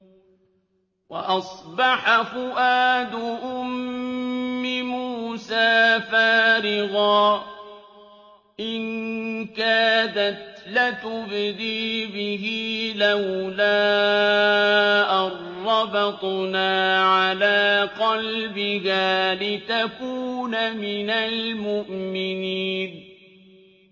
وَأَصْبَحَ فُؤَادُ أُمِّ مُوسَىٰ فَارِغًا ۖ إِن كَادَتْ لَتُبْدِي بِهِ لَوْلَا أَن رَّبَطْنَا عَلَىٰ قَلْبِهَا لِتَكُونَ مِنَ الْمُؤْمِنِينَ